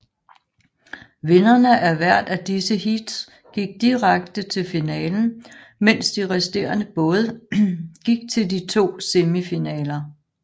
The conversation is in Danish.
Vinderne af hvert af disse heats gik direkte til finalen mens de resterende både gik til de to semifinaler